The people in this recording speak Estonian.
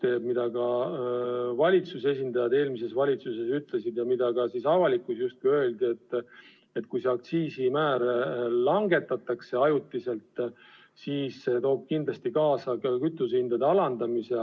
Eelmise valitsuse esindajad ütlesid ja ka avalikkuses justkui kõlas, et kui seda aktsiisimäära ajutiselt langetatakse, siis see toob kindlasti kaasa kütusehindade alandamise.